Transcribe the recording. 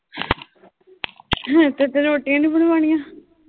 ਤੇਰੇ ਤੋਂ ਰੋਟੀਆਂ ਨੂੰ ਬਣਵਾਉਣੀਆਂ।